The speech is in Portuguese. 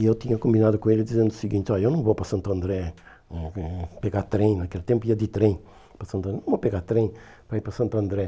E eu tinha combinado com ele dizendo o seguinte, eu não vou para Santo André hum hum pegar trem, naquele tempo ia de trem para Santo André, não vou pegar trem para ir para Santo André.